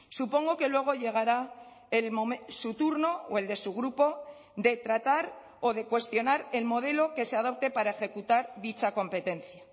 supongo que luego llegará su turno o el de su grupo de tratar o de cuestionar el modelo que se adopte para ejecutar dicha competencia